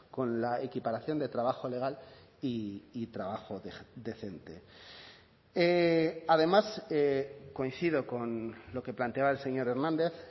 con la equiparación de trabajo legal y trabajo decente además coincido con lo que planteaba el señor hernández